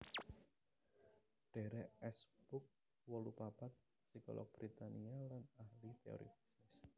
Derek S Pugh wolu papat psikolog Britania lan ahli téori bisnis